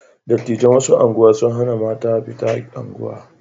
Dattijan wata unguwa sun hana mata fita unguwa.